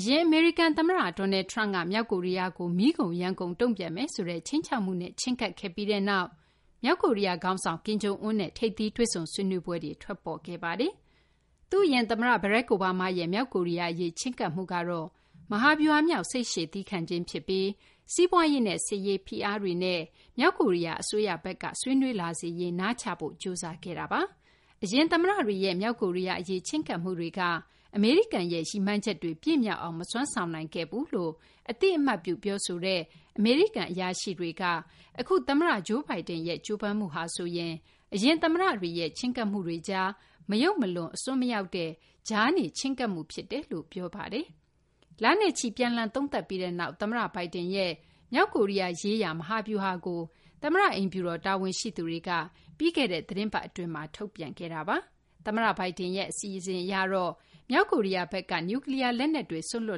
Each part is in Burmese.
အရင် အမေရိကန် သမ္မတ Donald Trump က မြောက်ကိုရီးယားကို မီးကုန်ယမ်းကုန် တုံ့ပြန်မယ် ဆိုတဲ့ ခြိမ်းခြောက်မှုနဲ့ ချဉ်းကပ်ခဲ့ပြီးနောက် မြောက်ကိုရီးယား ခေါင်းဆောင် Kim Jong Un နဲ့ ထိပ်သီး တွေ့ဆုံဆွေးနွေးပွဲတွေ ထွက်ပေါ်ခဲ့ပါတယ်။ သူ့အရင် သမ္မတ Barack Obama ရဲ့မြောက်ကိုရီးယား အရေး ချဉ်းကပ်မှုကတော့ မဟာဗျူဟာမြောက် စိတ်ရှည်သည်းခံခြင်း ဖြစ်ပြီး စီးပွားရေးနဲ့ စစ်ရေး ဖိအားတွေနဲ့ မြောက်ကိုရီးယား အစိုးရဘက်က ဆွေးနွေးလာစေရေး နားချဖို့ ကြိုးစားခဲ့ပါတယ်။ အရင် သမ္မတတွေရဲ့ မြောက်ကိုရီးယား အရေး ချဉ်းကပ်မှုတွေက အမေရိကန်ရဲ့ ရည်မှန်းချက်တွေ ပြည့်မြောက်အောင် မစွမ်းဆောင်နိုင်ခဲ့ဘူးလို့ အသိအမှတ်ပြု ပြောဆိုတဲ့ အမေရိကန် အရာရှိတွေက အခု သမ္မတ Joe Biden ရဲ့ ကြိုးပမ်းမှုက အရင် သမ္မတတွေရဲ့ ချဉ်းကပ်မှုတွေကြား မယုတ်မလွန် အစွန်းမရောက်တဲ့ ကြားနေ ချဉ်းကပ်မှု ဖြစ်တယ်လို့ ပြောဆိုကြပါတယ်။ လနဲ့ချီ ပြန်လှန် သုံးသပ်ပြီးနောက် သမ္မတ Biden ရဲ့ မြောက်ကိုရီးယား ရေးရာ မဟာဗျူဟာကို သမ္မတ အိမ်ဖြူတော် တာဝန်ရှိသူတွေက ပြီးခဲ့တဲ့ သီတင်းပတ် အတွင်းမှာ ထုတ်ပြန်ထားတာပါ။ သမ္မတ Biden ရဲ့ အစီအစဉ်အရတော့ မြောက်ကိုရီးယားဘက်က နျူးကလီးယား လက်နက်တွေ စွန့်လွှ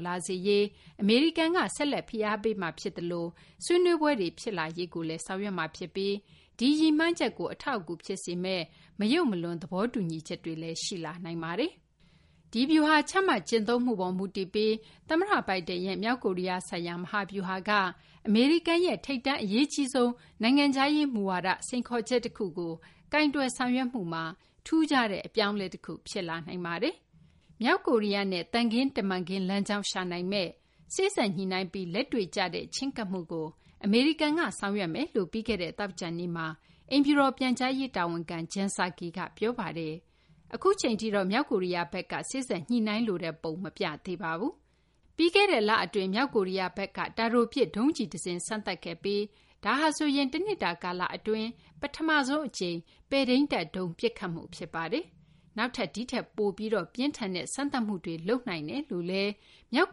တ်လာစေရေး အမေရိကန်က ဆက်လက် ဖိအားပေးမှာ ဖြစ်သလို ဆွေးနွေးပွဲတွေ ဖြစ်လာရေးလည်း ဆောင်ရွက်မှာ ဖြစ်ပြီး ဒီရည်မှန်းချက် ကို အထောက်အကူ ဖြစ်စေမယ့် မယုတ်မလွန် သဘောတူညီချက်တွေလည်း ရှိလာနိုင်ပါတယ်။ ဒီဗျူဟာ ချမှတ် ကျင့်သုံးမှုပေါ် မူတည်ပြီး သမ္မတ Biden ရဲ့ မြောက်ကိုရီးယား ဆိုင်ရာ မဟာဗျူဟာက အမေရိကန်ရဲ့ ထိပ်တန်း အရေးကြီးဆုံး နိုင်ငံခြားရေး မူဝါဒ စိန်ခေါ်ချက် တခုကို ကိုင်တွယ် ဆောင်ရွက်မှုမှာ ထူးခြားတဲ့ အပြောင်းအလဲ တခု ဖြစ်လာနိုင်ပါတယ်။ မြောက်ကိုရီးယားနဲ့ သံခင်းတမန်ခင်း လမ်းကြောင်း ရှာနိုင်မယ့် စေ့စပ်ညှိနှိုင်းပြီး လက်တွေ့ကျတဲ့ ချဉ်းကပ်မှုကို အမေရိကန်က ဆောင်ရွက်မယ်လို့ ပြီးခဲ့တဲ့ သောကြာနေ့မှာ အိမ်ဖြူတော် ပြန်ကြားရေး တာဝန်ခံ Jen Psaki က ပြောပါတယ်။ အခုအချိန်ထိတော့ မြောက်ကိုရီးယားဘက်က စေ့စပ်ညှိနှိုင်းလိုတဲ့ ပုံ မပြသေးပါဘူး။ ပြီးခဲ့တဲ့ လ အတွင်း မြောက်ကိုရီးယားဘက်က တာတိုပစ် ဒုံးကျည် တစင်း စမ်းသပ်ခဲ့ပြီး ဒါဟာဆိုရင် တနှစ်တာ ကာလ အတွင်း ပထမဆုံး ပဲ့ထိန်းတပ်ဒုံး ပစ်ခတ်မှု ဖြစ်ပါတယ်။ နောက်ထပ် ဒီထက်ပိုပြီး ပြင်းထန်တဲ့ စမ်းသပ်မှုတွေ လုပ်နိုင်တယ်လို့လည်း မြောက်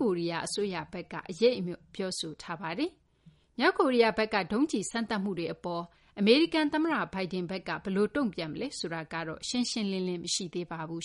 ကိုရီးယား အစိုးရဘက်က အရိပ်အမြွက် ပြောထားတာပါ။ မြောက်ကိုရီးယားဘက်က ဒုံးကျည် စမ်းသပ်မှုတွေ အပေါ် အမေရိကန် သမ္မတ Biden ဘက်က ဘယ်လို တုံ့ပြန်မလဲ ဆိုတာကတော့ ရှင်းရှင်းလင်းလင်း မရှိသေးပါဘူး